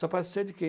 Só pode ser de quem?